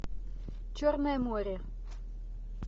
черное море